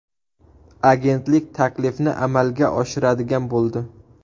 Agentlik taklifni amalga oshiradigan bo‘ldi.